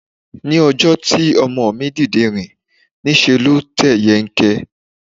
Ní ọjọ́ tí ọmọ mi dìde láti rìn, ní ṣe ló tẹ̀ yẹ́nkẹ́n.